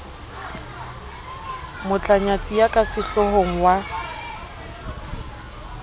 motlanyatsi ya ka sehlohong wa